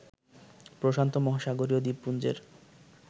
প্রশান্ত মহাসাগরীয় দ্বীপপুঞ্জের